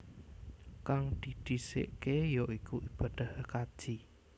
Kang didhisikké ya iku ibadah kaji